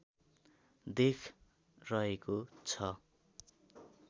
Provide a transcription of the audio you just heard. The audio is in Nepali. देख रहेको छ